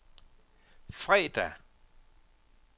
fredag